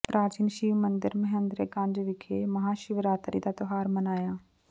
ਪ੍ਰਾਚੀਨ ਸ਼ਿਵ ਮੰਦਰ ਮਹਿੰਦਰ ਗੰਜ ਵਿਖੇ ਮਹਾਂ ਸ਼ਿਵਰਾਤਰੀ ਦਾ ਤਿਉਹਾਰ ਮਨਾਇਆ